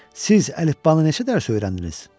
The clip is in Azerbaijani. Siz əlifbanı neçə dərs öyrəndiniz?